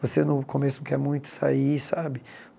Você no começo não quer muito sair, sabe?